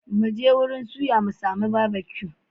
Mu je wurin suya mu sami Barbecue.